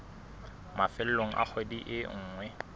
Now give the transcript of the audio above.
mafelong a kgwedi e nngwe